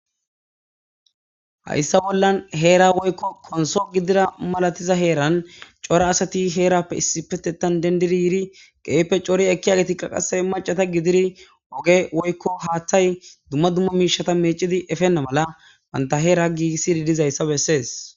Haysa bolla hern woyko konso malatizaysa gidida heran cora asat heran issipetethan gidid yid keehippe cori ekiyagetika qase macata gidid ogey woyko hathay dumma dumma mishata mecid eponta mala banta Hera gigisid dizaysa beses.